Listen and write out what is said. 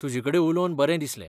तुजेकडेन उलोवन बरें दिसलें.